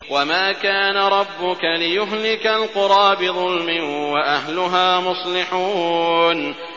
وَمَا كَانَ رَبُّكَ لِيُهْلِكَ الْقُرَىٰ بِظُلْمٍ وَأَهْلُهَا مُصْلِحُونَ